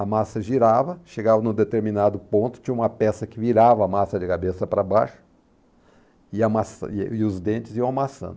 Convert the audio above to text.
A massa girava, chegava num determinado ponto, tinha uma peça que virava a massa de cabeça para baixo, e a massa, e e os dentes iam amassando.